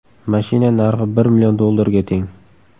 Mashina narxi bir million dollarga teng.